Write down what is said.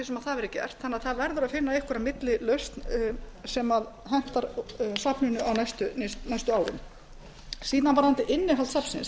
það verði gert þannig að það verður að finna einhverja millilausn sem hentar safninu á næstu árum síðan varðandi innihald safnsins